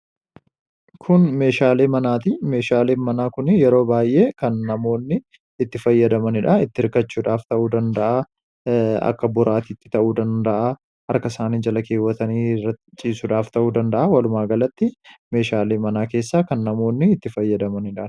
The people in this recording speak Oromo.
Kun meeshaalee manaati. Meeshaaleen manaa kuni yeroo baay'ee kan namoonni itti fayyadamanidha. Itti hirkachuudhaaf ta'uu danda'a, akka boraatiitti ta'uu danda'a, harka isaanii jala keewwaatanii irra ciisuudhaaf ta'uu danda'a. Walumaagalatti, meeshaalee mana keessaa kan namoonni itti fayyadamanidha.